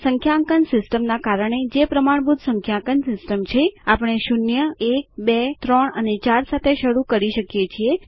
સંખ્યાંકન system ના કારણે જે પ્રમાણભૂત સંખ્યાંકન સિસ્ટમ છે આપણે શૂન્ય એક બે ત્રણ અને ચાર સાથે શરૂ કરીએ છીએ